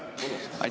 Aitäh!